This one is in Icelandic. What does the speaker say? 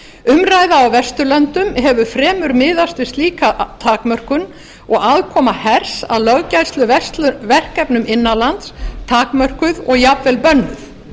umræða á vesturlöndum hefur fremur miðast við slíka takmörkun og aðkomu hers að löggæslu hers að löggæsluverkefnum innan lands takmörkuð og jafnvel bönnuð